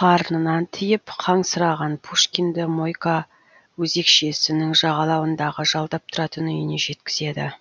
қарнынан тиіп қансыраған пушкинді мойка өзекшесінің жағалауындағы жалдап тұратын үйіне жеткізеді